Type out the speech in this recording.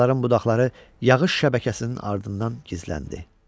Ağacların budaqları yağış şəbəkəsinin ardından gizləndi.